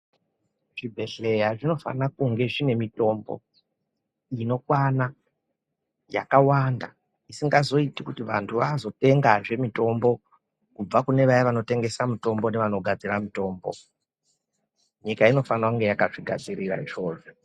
Zvibhedhlera zvinofana kunge zvine mitombo inokwana, yakawanda, isingazoiti kuti vantu vazotengazve mitombo kubva kune vaya vanotengesa mitombo nevanogadzira mitombo. Nyika inofana kunge yakazvigadzirira izvozvo.